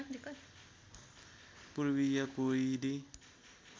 पूर्वीय कोइली